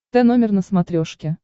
тномер на смотрешке